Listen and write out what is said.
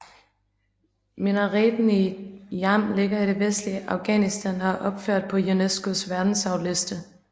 Minareten i Jam ligger i det vestlige Afghanistan og er opført på UNESCOs verdensarvsliste